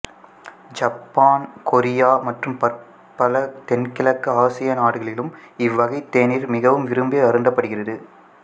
சப்பான் Korea மற்றும் பற்பல தென்கிழக்கு ஆசிய நாடுகளிலும் இவ்வகைத் தேநீர் மிகவும் விரும்பி அருந்தப்படுகிறது